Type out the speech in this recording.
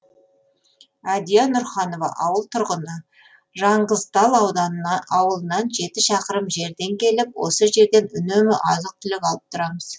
әдия нұрханова ауыл тұрғыны жаңғызтал ауылынан жеті шақырым жерден келіп осы жерден үнемі азық түлік алып тұрамыз